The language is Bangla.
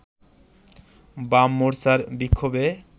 বাম মোর্চার বিক্ষোভে